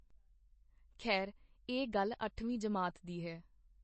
ਖੈਰ ਇਹ ਗੱਲ ਅੱਠਵੀਂ ਜਮਾਤ ਦੀ ਹੈ.